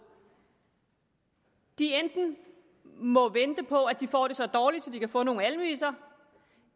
enten må vente på at de får det så dårligt at de kan få nogle almisser